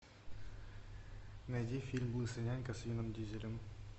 найди фильм лысый нянька с вином дизелем